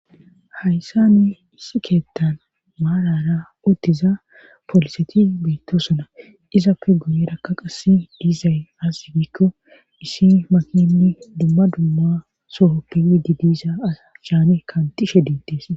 hayssani issi keettan maarara uttiza poliseti beyttosuna izappe guyerakka qassi diizay azigikko isi maknni dumma dumma sohoppey di diiza aachane kaantishe diittees